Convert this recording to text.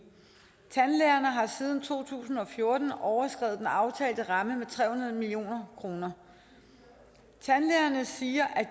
tandlægerne har siden to tusind og fjorten overskredet den aftalte ramme med tre hundrede million kroner tandlægerne siger at